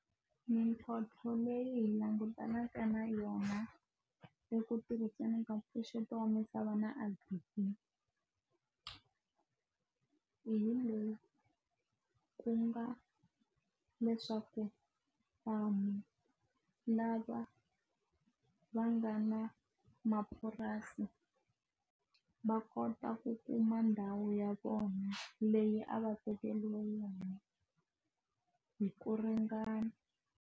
Mintlhontlho leyi langutanaka na yona eku tirhiseni ka mpfuxeto wa misava na Agri-B_E_E hi leyi ku nga leswaku vanhu lava va nga na mapurasi va kota ku kuma ndhawu ya vona leyi a va tekeriwi yona hi ku ringana.